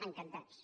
en·cantats